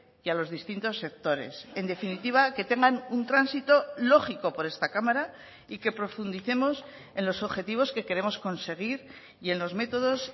y a los distintos sectores en definitiva que tengan un tránsito lógico por esta cámara y que profundicemos en los objetivos que queremos conseguir y en los métodos